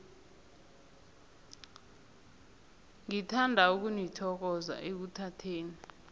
ngithanda ukunithokoza ekuthatheni